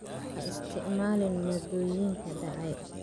Ha isticmaalin maaddooyinka dhacay.